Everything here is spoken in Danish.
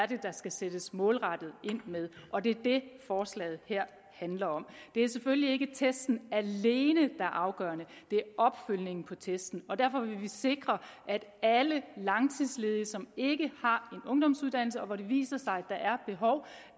det er der skal sættes målrettet ind med og det er det forslaget her handler om det er selvfølgelig ikke testen alene er afgørende det er opfølgningen på testen og derfor vil vi sikre at alle langtidsledige som ikke har en ungdomsuddannelse og hvor det viser sig